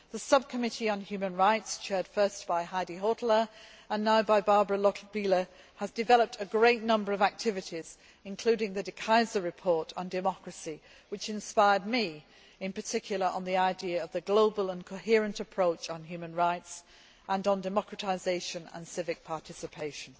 The Subcommittee on Human Rights, chaired first by Heidi Hautala, and now by Barbara Lochbihler, has developed a great number of activities, including the De Keyser report on democracy, which inspired me, in particular on the idea of the global and coherent approach to human rights and to democratisation and civic participation.